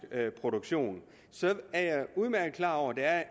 produktion så er jeg udmærket klar over at det er